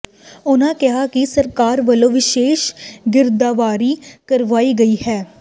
ਉਨ੍ਹਾਂ ਕਿਹਾ ਕਿ ਸਰਕਾਰ ਵੱਲੋਂ ਵਿਸ਼ੇਸ਼ ਗਿਰਦਾਵਰੀ ਕਰਵਾਈ ਗਈ ਹੈ